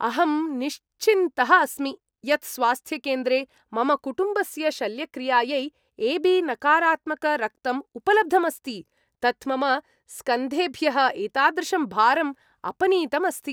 अहं निश्चिन्तः अस्मि यत् स्वास्थ्यकेन्द्रे मम कुटुम्बस्य शल्यक्रियायै ए.बी नकारात्मक रक्तं उपलब्धम् अस्ति। तत् मम स्कन्धेभ्यः एतादृशं भारम् अपनीतम् अस्ति।